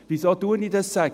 Weshalb sage ich dies?